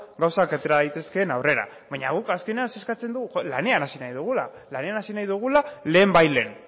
gauzak atera daitezkeen aurrera baina guk azkenean zer eskatzen dugu lanean hasi nahi dugula lehenbailehen